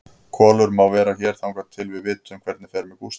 Kolur má vera hér þangað til við vitum hvernig fer með Gústa.